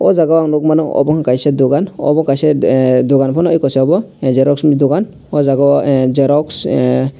aw jaaga ang nugmano omo kaisa dugan omo kaisa dugan fano omo kaisa omo xexo ni dugan aw jaaga I xerox ahh.